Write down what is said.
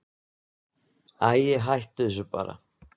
Æi, hættu þessu bara.